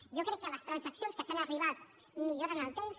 jo crec que les transaccions a què s’ha arribat milloren el text